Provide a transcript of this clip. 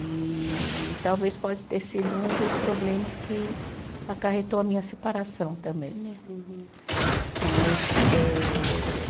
E talvez pode ter sido um dos problemas que acarretou a minha separação também, né? Uhum. Mas eh